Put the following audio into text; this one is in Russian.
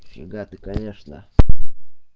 фига ты конечно